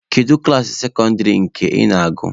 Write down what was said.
Kedu klaasị sekọndịrị nke ị na-agụ?